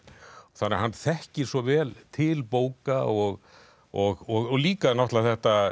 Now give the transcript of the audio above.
þannig að hann þekkir svo vel til bóka og og og líka náttúrulega þetta